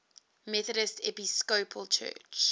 methodist episcopal church